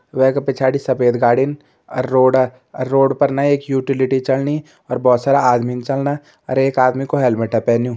वैका पिछाड़ी सफ़ेद गाड़ीन अर रोड अर रोड पर एक ना यूटिलिटी चलनी और भोत सारा आदमी चलना अर एक आदमी को हेलमेट पैन्युं।